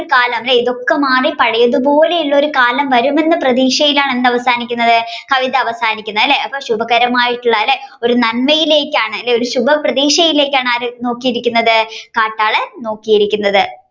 ഇതൊക്കെ മാറി പഴയതു പോലുള്ള കാലം വരും എന്ന പ്രതീക്ഷയിലാണ് എന്ത് അവസാനിക്കുന്നത് കവിത അവസാനിക്കുന്നത് അല്ലെ ശുഭകരമായിട്ടുള്ള അല്ലെ ഒരു നന്മയിലേക്കാണ് ഒരു ശുഭപ്രതീക്ഷയിലേക്കാണ് ആര് നോക്കിയിരിക്കുന്നത് കാട്ടാളൻ നോക്കിയിരിക്കുന്നത്